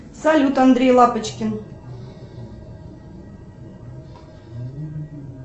салют андрей лапочкин